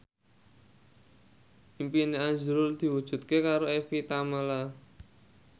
impine azrul diwujudke karo Evie Tamala